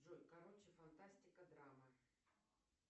джой короче фантастика драма